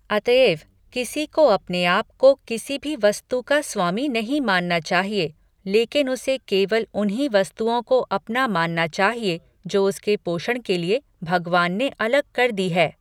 अतएव किसी को अपने आपको किसी भी वस्तु का स्वामी नहीं मानना चाहिए लेकिन उसे केवल उन्हीं वस्तुओं को अपना मानना चाहिए जो उसके पोषण के लिए भगवान ने अलग कर दी है।